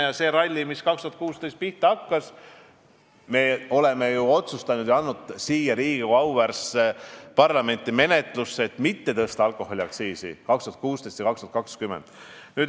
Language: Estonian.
2016 hakkas see ralli pihta, aga me oleme ju otsustanud ja andnud Riigikogu, auväärse parlamendi menetlusse eelnõu, et jätta ära alkoholiaktsiisi tõusud 2019 ja 2020.